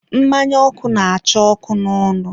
mmanya ọkụ na-acha ọkụ n'ọnụ.